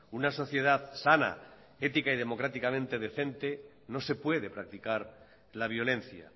una sociedad sana ética y democráticamente decente no se puede practicar la violencia